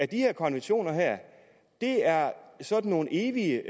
de her konventioner er sådan nogle evige